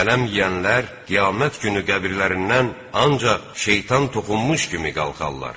Sələm yeyənlər qiyamət günü qəbirlərindən ancaq şeytan toxunmuş kimi qalxarlar.